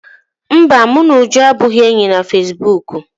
Mba, mụ na Uju abụghị enyi na fesibuuku